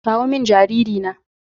kawo min jariri na